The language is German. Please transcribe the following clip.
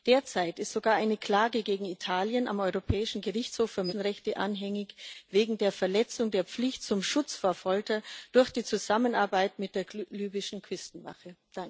Derzeit ist sogar eine Klage gegen Italien am Europäischen Gerichtshof für Menschenrechte anhängig wegen der Verletzung der Pflicht zum Schutz vor Folter durch die Zusammenarbeit mit der libyschen Küstenwache.